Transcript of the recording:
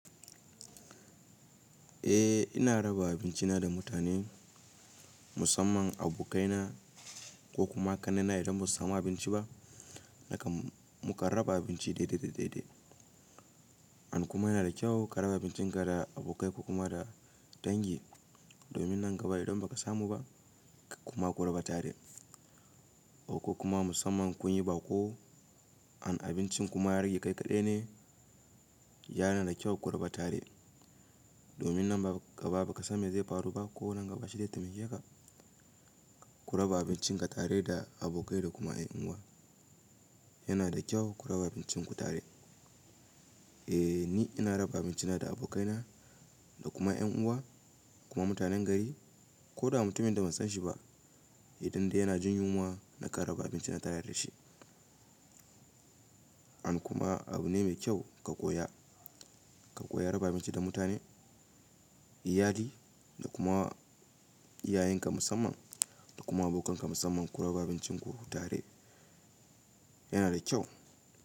Eh ina raba abincina da mutane musamman abokaina ko kuma kan nena idan ba su samu abinci ba nakan mukan raba abinci daidai daidai. An kuma yana da kyau ka raba abincinka da abokai ka kuma da dangin domin nan gaba idan ba ka samu ba kuma ku raba tare. Ko kuma musamman kun yi baƙo an abincin kuma ya rage kai kaɗai ne yana da kyau ku raba tare. Domin nan gaba ba ka samu ya zai faru ba ko nan gaba shi dai taimake ka ku raba abincin ka tare da abokai da kuma ƴan uwa. Yana da kyau ku raba abincinku tare. Eh ni ina raba abincina da abokaina da kuma ƴan uwa kuma mutanen gari ko da mutumin da ban san shi ba idan dai yana jin yunwa nakan raba abinci na tare da shi. An kuma abu ne mai kyau ka koya, ka koya raba abinci da mutane, iyali da kuma iyayenka musamman da kuma abokanka musamman ku raba abincinku tare yana da kyau.